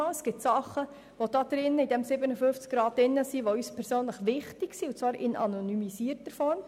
Es gibt in diesem Artikel 57a (neu) Dinge, die uns persönlich wichtig sind, und zwar in anonymisierter Form.